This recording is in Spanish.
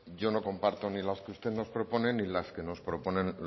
yo no comparto ni las que usted nos propone ni las que nos proponen